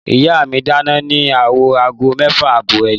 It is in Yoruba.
Ìyá mí máa dáná ní owó aago mẹ́fà àbọ̀ alé.